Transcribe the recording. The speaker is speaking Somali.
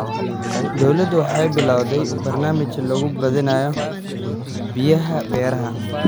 Dawladdu waxay bilawday barnaamij lagu badbaadinayo biyaha beeraha.